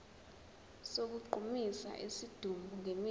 sokugqumisa isidumbu ngemithi